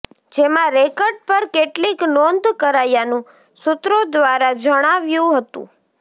જેમાં રેકર્ડ પર કેટલીક નોંધ કરાયાનું સૂત્રો દ્વારા જાણવા મળ્યુ છે